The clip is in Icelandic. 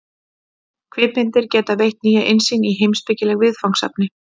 Kvikmyndir geta veitt nýja innsýn í heimspekileg viðfangsefni.